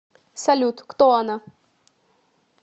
салют кто она